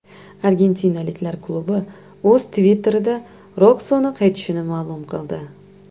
Argentinaliklar klubi o‘z Twitter’ida Roxoni qaytishini ma’lum qildi .